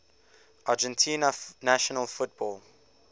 argentina national football